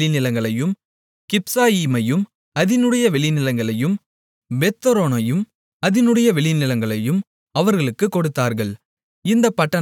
கிப்சாயீமையும் அதினுடைய வெளிநிலங்களையும் பெத்தொரோனையும் அதினுடைய வெளிநிலங்களையும் அவர்களுக்குக் கொடுத்தார்கள் இந்தப் பட்டணங்கள் நான்கு